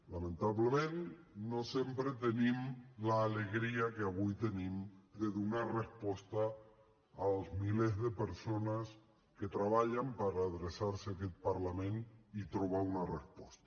lamentablement no sempre tenim l’alegria que avui tenim de donar resposta als milers de persones que treballen per adreçar se a aquest parlament i trobar una resposta